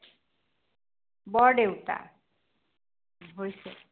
বৰদেউতা হৈছে।